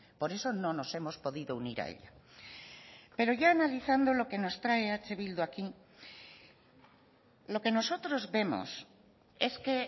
por eso no nos hemos podido unir a ella pero ya analizando lo que nos trae eh bildu aquí lo que nosotros vemos es que